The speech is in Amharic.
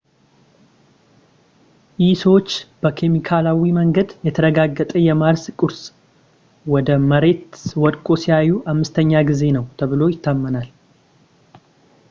ይህ ሰዎች በኬሚካላዊ መንገድ የተረጋገጠ የማርስ ቁስ ወደ መሬት ወድቆ ሲያዩ ዐምስተኛ ጊዜ ነው ተብሎ ይታመናል